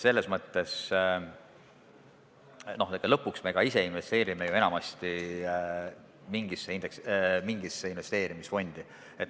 Lõpuks me ise ka ju investeerime enamasti mingisse investeerimisfondi.